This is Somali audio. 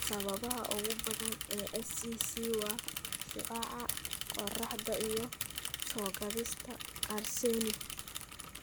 Sababaha ugu badan ee SCC waa shucaaca qorraxda iyo soo-gaadhista arsenic.